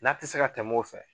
N'a ti se ka tɛmɛ o fɛ